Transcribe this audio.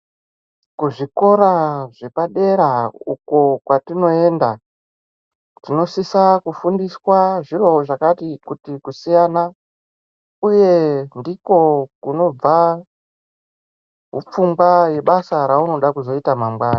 Kuzvikora zvepadera uko kwatinoenda tinosisa kufundiswa zviro zvakati kuti kusiyana uye ndiko kunobva hupfungwa yebasa raunoda kuzoita mangwana.